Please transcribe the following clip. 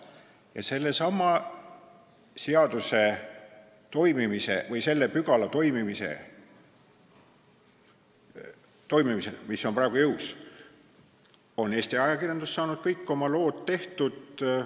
Ja kogu sellesama seaduspügala toimimise aja, mis on ka praegu jõus, on Eesti ajakirjandus kõik oma lood tehtud saanud.